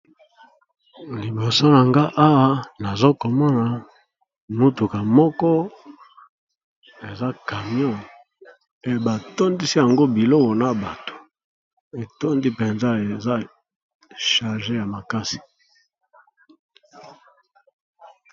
Liboso nanga awa nazo komona mutuka moko eza camion ebatondisi yango biloko na bato etondi mpenza eza charge ya makasi.